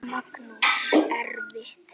Magnús: Erfitt?